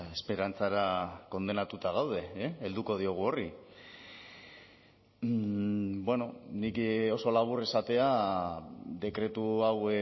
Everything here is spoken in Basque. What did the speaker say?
esperantzara kondenatuta gaude helduko diogu horri nik oso labur esatea dekretu hau